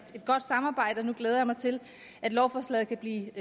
godt samarbejde nu glæder jeg mig til at lovforslaget kan blive